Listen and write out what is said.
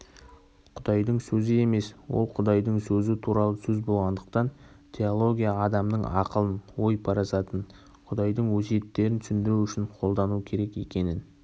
құдайдың сөзі емес ол құдайдың сөзі туралы сөз болғандықтан теология адамның ақылын ой-парасатын құдайдың өсиеттерін түсіндіру үшін қолдану керек екенін